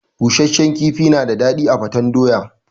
Busashen kifi na da daɗi a gwaten doya.